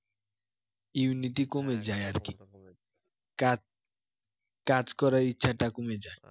immunity কমে যায় আর কি কাজ কাজ করার ইচ্ছাটা কমে যায়